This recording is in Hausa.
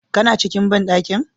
Kana cikin bandankin?